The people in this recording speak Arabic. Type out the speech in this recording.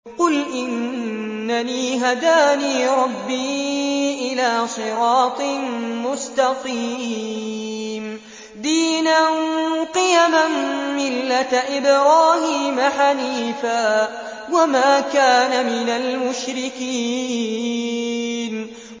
قُلْ إِنَّنِي هَدَانِي رَبِّي إِلَىٰ صِرَاطٍ مُّسْتَقِيمٍ دِينًا قِيَمًا مِّلَّةَ إِبْرَاهِيمَ حَنِيفًا ۚ وَمَا كَانَ مِنَ الْمُشْرِكِينَ